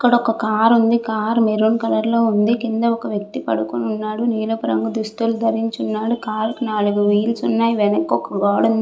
ఇక్కడ ఒక కార్ ఉంది కార్ మరూన్ కలర్ లో ఉంది కింద ఒక వ్యక్తి పడుకుని ఉన్నాడు నీలపు రంగు దుస్తులు దరించి ఉన్నాడు. కార్ కి నాలుగు వీల్స్ ఉన్నాయి వెనక ఒక గోడ ఉంది.